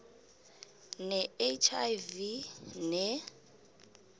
ne hiv ne